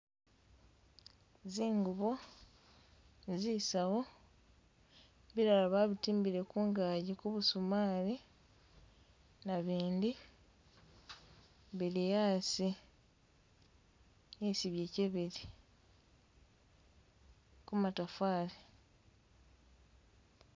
Zingubo zisawu bilala babitimbile kungaji kubusumali nabindi biliasi isi byache bili kumatafali